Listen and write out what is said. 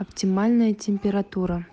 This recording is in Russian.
оптимальная температура